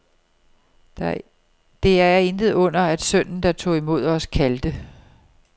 Det er intet under, at sønnen, der tog imod os, kaldte